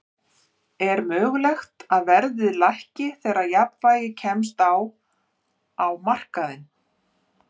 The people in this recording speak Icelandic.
Er mögulegt að verðið lækki þegar jafnvægi kemst á á markaðnum?